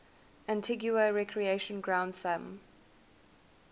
antigua recreation ground thumb